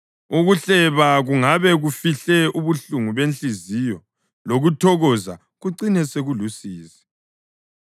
Ukuhleba kungabe kufihle ubuhlungu benhliziyo, lokuthokoza kucine sekulusizi.